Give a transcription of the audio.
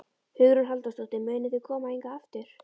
Hugrún Halldórsdóttir: Munuð þið koma hingað aftur?